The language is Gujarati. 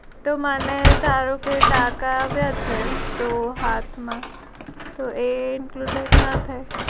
તો મને ધારો કે ટાન્કા આવ્યા છે તો હાથ માં તો એ include